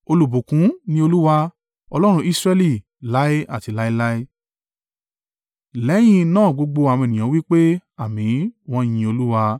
Olùbùkún ni Olúwa, Ọlọ́run Israẹli, láé àti láéláé. Lẹ́yìn náà gbogbo àwọn ènìyàn wí pé, “Àmín,” wọ́n “Yin Olúwa.”